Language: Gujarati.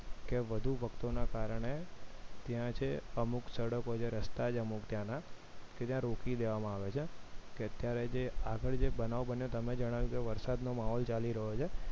કે વધુ ભક્તોના કારણે ત્યાં છે અમુક સડકો છે રસ્તા છે અમુક ત્યાંના કે ત્યાં રોકી દેવામાં આવે છે કે કે અત્યારે આગળ જે બનાવ બન્યો તમે જણાવ્યું કે વરસાદનો માહોલ ચાલી રહ્યો છે